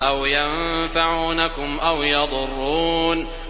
أَوْ يَنفَعُونَكُمْ أَوْ يَضُرُّونَ